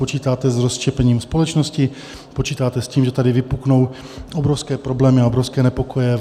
Počítáte s rozštěpením společnosti, počítáte s tím, že tady vypuknou obrovské problémy a obrovské nepokoje.